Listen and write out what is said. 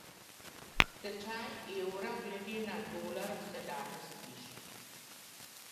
Tečaj evra glede na dolar se danes viša.